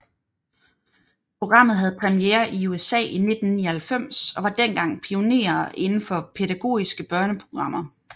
Programmet havde premiere i USA i 1999 og var dengang pionerer inden for pædagogiske børneprogrammer